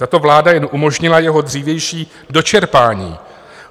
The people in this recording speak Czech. Tato vláda jen umožnila jeho dřívější dočerpání.